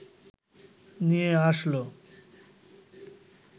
নিয়ে আসলো